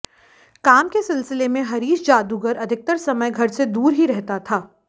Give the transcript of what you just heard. काम के सिलसिले में हरीश जादूगर अधिकतर समय घर से दूर ही रहता था